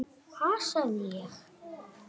Ha, sagði ég.